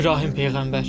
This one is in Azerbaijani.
İbrahim peyğəmbər.